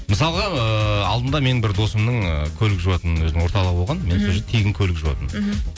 мысалға ыыы алдында менің бір досымның көлік жуатын өзінің орталығы болған мен сол жерде тегін көлік жуатынмын мхм